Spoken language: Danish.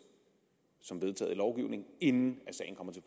som vedtaget i lovgivningen inden sagen kommer til